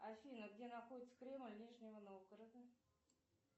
афина где находится кремль нижнего новгорода